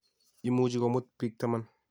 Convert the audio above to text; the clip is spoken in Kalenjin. Imuchi komuut bik taman